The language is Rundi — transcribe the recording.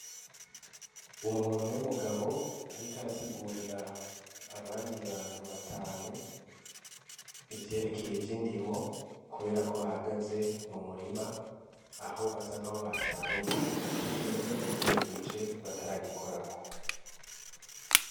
Umuntu w'umugabo, ariko arasigurira abandi bantu batanu ivyerekeye ivyo indimo, kubera ko bahagaze mu murima aho basank'abo basaruye igice kimwe ikindi gice bataragikorako.